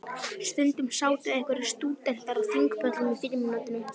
Stundum sátu einhverjir stúdentar á þingpöllum í frímínútum.